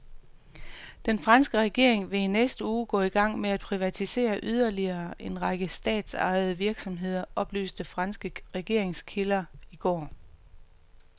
Den franske regering vil i næste uge gå i gang med at privatisere yderligere en række statsejede virksomheder, oplyste franske regeringskilder i går.